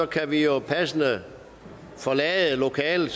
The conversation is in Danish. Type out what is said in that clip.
kan vi jo passende forlade lokalet i